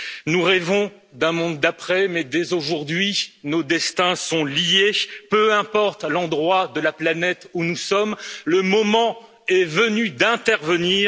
Nous rêvons d'un monde d'après mais dès aujourd'hui nos destins sont liés, peu importe l'endroit de la planète où nous sommes, le moment est venu d'intervenir.